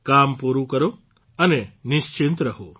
કામ પૂરૂં કરો અને નિશ્ચિંત રહો